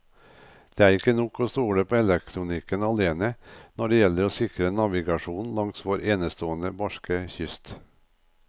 Det er ikke nok å stole på elektronikken alene når det gjelder å sikre navigasjonen langs vår enestående barske kyst.